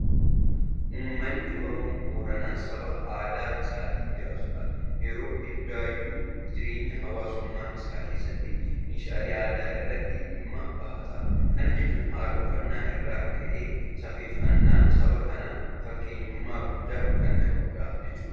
Uummanni Oromoo Booranaa saba aadaa isaatiin jiraatudha. Yeroo hundayyuu jireenya hawaasummaa isaa keessatti meeshaalee aadaa isaatti dhimma bahata. Kana jechuun haala uffannaa irraa ka'ee safeeffannaan saba kanaa fakkeenyummaa guddaa kan qabudha jechuudha.